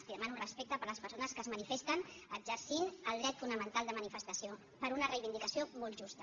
li demano respecte per a les persones que es manifesten exercint el dret fonamental de manifestació per una reivindicació molt justa